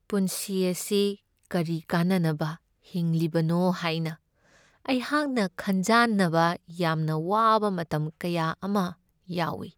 ꯄꯨꯟꯁꯤ ꯑꯁꯤ ꯀꯔꯤ ꯀꯥꯟꯅꯕ ꯍꯤꯡꯂꯤꯕꯅꯣ ꯍꯥꯏꯅ ꯑꯩꯍꯥꯛꯅ ꯈꯟꯖꯥꯟꯅꯕ ꯌꯥꯝꯅ ꯋꯥꯕ ꯃꯇꯝ ꯀꯌꯥ ꯑꯃ ꯌꯥꯎꯢ ꯫